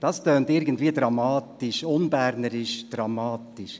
Dies klingt irgendwie unbernisch dramatisch.